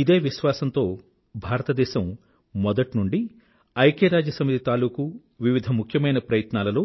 ఇదే విశ్వాసంతో భారతదేశం మొదటినుండీ ఐక్యరాజ్య సమితి తాలూకూ వివిధ ముఖ్యమైన ప్రయత్నాలలో